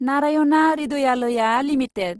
Narayana Hrudayalaya limited